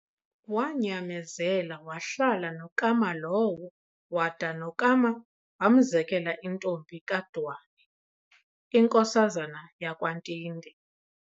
Waanyamezela wahlala noKama lowo, wada noKama wamzekela intombi kaDwane inkosazana yakwaNtinde.